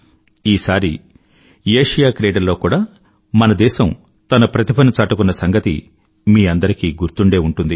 ఈసారి ఆసియాక్రీడల్లో కూడా మన దేశం తన ప్రతిభను చాటుకున్న సంగతి మీ అందరికీ గుర్తుండే ఉంటుంది